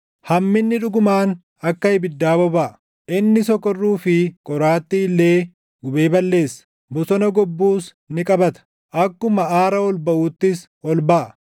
Hamminni dhugumaan akka ibiddaa bobaʼa; inni sokorruu fi qoraattii illee gubee balleessa, bosona gobbuus ni qabata; akkuma aara ol baʼuuttis ol baʼa.